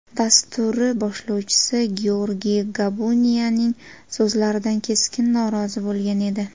dasturi boshlovchisi Georgiy Gabuniyaning so‘zlaridan keskin norozi bo‘lgan edi.